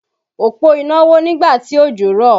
Òpó iná wó nígbà tí òjò rọ̀